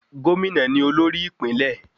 Gómìnà ni olórí ìpínlẹ̀.